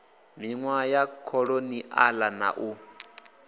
minwaha ya kholoniala na u